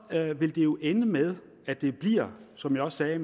her vil det jo ende med at det bliver som jeg også sagde